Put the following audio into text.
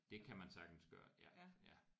Det kan man sagtens gøre ja ja